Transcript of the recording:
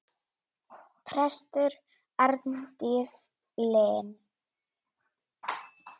Prestur Arndís Linn.